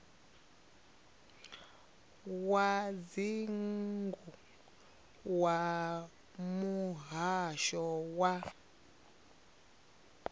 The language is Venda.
wa dzingu wa muhasho wa